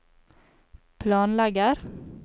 planlegger